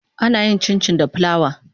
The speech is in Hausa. Ana yin Cincin da plawa.